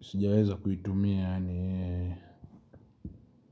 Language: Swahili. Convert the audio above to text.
sijaweza kuitumia yaani.